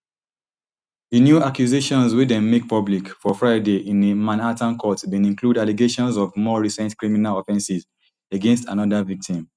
di new accusations wey dem make public for friday in a manhattan court bin include allegations of more recent criminal offences against anoda victim